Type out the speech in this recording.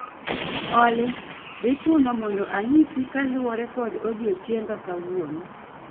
Olly, dhi chuno mondo anyisi kaluwore kod odiechienga kawuono